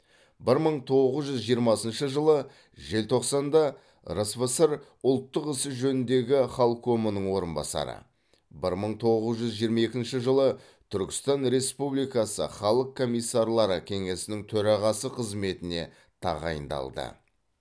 бір мың тоғыз жүз жиырмасыншы жылы желтоқсанда рсфср ұлттар ісі жөніндегі халкомының орынбасары бір мың тоғыз жүз жиырма екінші жылы түркістан республикасы халық комиссарлары кеңесінің төрағасы қызметіне тағайындалды